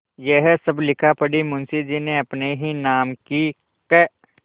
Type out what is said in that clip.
यह सब लिखापढ़ी मुंशीजी ने अपने ही नाम की क्